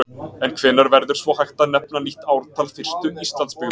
En hvenær verður svo hægt að nefna nýtt ártal fyrstu Íslandsbyggðar?